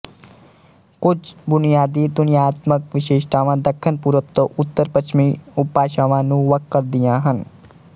ਕੁਝ ਬੁਨਿਆਦੀ ਧੁਨੀਆਤਮਕ ਵਿਸ਼ੇਸ਼ਤਾਵਾਂ ਦੱਖਣ ਪੂਰਬ ਤੋਂ ਉੱਤਰਪੱਛਮੀ ਉਪਭਾਸ਼ਾਵਾਂ ਨੂੰ ਵੱਖ ਕਰਦੀਆ ਹਨ